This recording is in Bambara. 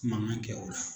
Mankan kɛ o la